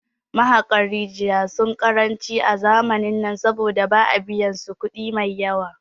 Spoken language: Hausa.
Mahaƙan rijaya sun ƙaranci a zamanin nan saboda ba a biyan su kudi maiyawa